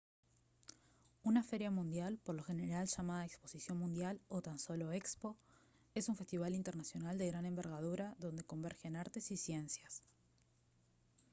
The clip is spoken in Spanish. una feria mundial por lo general llamada exposición mundial o tan solo expo es un festival internacional de gran envergadura donde convergen artes y ciencias